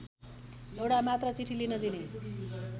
एउटा मात्र चिठी लिन दिने